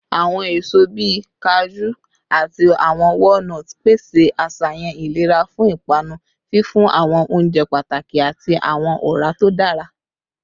Awọn eso bii kaju ati awọn walnuts pese aṣayan ilera fun ipanu, fifun awọn ounjẹ pataki ati awọn ọra to dara